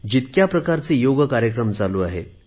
जितक्या प्रकारचे योग कार्यक्रम चालू आहेत